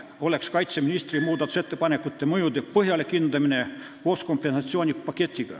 Kaitseministri ettepanekute mõjusid oleks vaja põhjalikult hinnata, arvestades ka kompensatsioonipaketti.